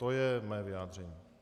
To je mé vyjádření.